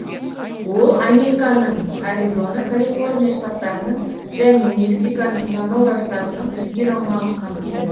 ол американың аризона калифорния штаттарының және мексиканың сонора штатының үлкен аумағын қамтиды